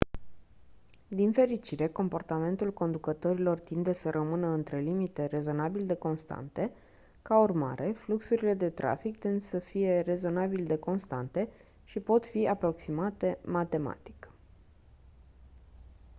din fericire comportamentul conducătorilor tinde să rămână între limite rezonabil de constante ca urmare fluxurile de trafic tind să fie rezonabil de constante și pot fi aproximate matematic